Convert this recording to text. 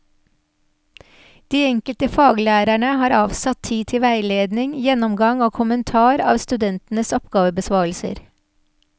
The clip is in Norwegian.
De enkelte faglærerne har avsatt tid til veiledning, gjennomgang og kommentar av studentenes oppgavebesvarelser.